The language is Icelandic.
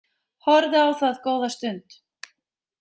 Horfði á það góða stund.